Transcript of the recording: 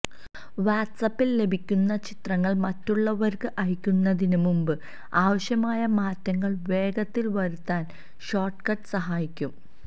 വാട്സാപ്പില് ലഭിക്കുന്ന ചിത്രങ്ങള് മറ്റുള്ളവര്ക്ക് അയക്കുന്നതിന് മുമ്പ് ആവശ്യമായ മാറ്റങ്ങള് വേഗത്തില് വരുത്താന് ഷോര്ട്ട്കട്ട് സഹായിക്കും